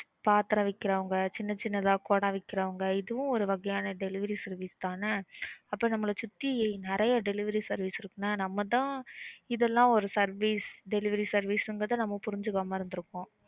பாத்திரம் விக்கறவங்க சின்னசின்னதா குடம் விக்கறவங்க இதுவும் ஒரு வகையான delivery service தான் என்ன. அப்ப நம்மள சுத்தி நறைய delivery service இருக்கு. என்ன நம்ம தான் இதெல்லாம் ஒரு service delivery service ங்கறத நம்ம புரிஞ்சுக்காம இருந்துருக்கோம்.